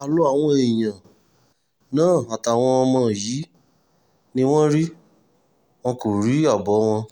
àlọ àwọn èèyàn náà àtàwọn ọmọ yìí ni wọ́n rí wọn kò rí àbọ̀ wọn